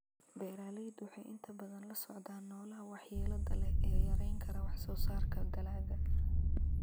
Beeraleydu waxay inta badan la socdaan noolaha waxyeelada leh ee yarayn kara wax-soo-saarka dalagga.